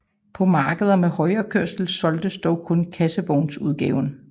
På markeder med højrekørsel solgtes dog kun kassevognsudgaven